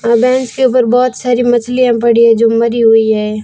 अह bench के ऊपर बहुत सारी मछलियां पड़ी हैं जो मरी हुई है।